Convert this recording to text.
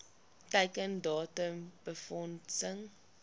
teiken datum befondsing